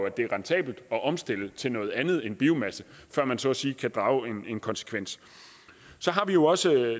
at det er rentabelt at omstille til noget andet end biomasse før man så at sige kan drage en konsekvens så har vi jo også